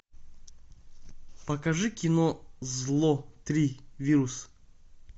покажи кино зло три вирус